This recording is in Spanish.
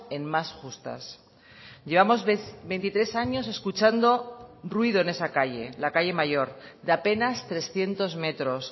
en más justas llevamos veintitrés años escuchando ruido en esa calle la calle mayor de apenas trescientos metros